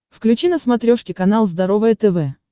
включи на смотрешке канал здоровое тв